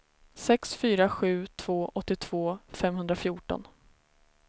sex fyra sju två åttiotvå femhundrafjorton